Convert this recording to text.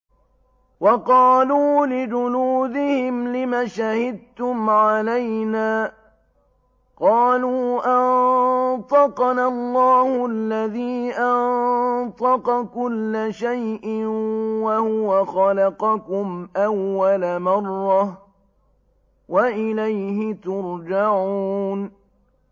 وَقَالُوا لِجُلُودِهِمْ لِمَ شَهِدتُّمْ عَلَيْنَا ۖ قَالُوا أَنطَقَنَا اللَّهُ الَّذِي أَنطَقَ كُلَّ شَيْءٍ وَهُوَ خَلَقَكُمْ أَوَّلَ مَرَّةٍ وَإِلَيْهِ تُرْجَعُونَ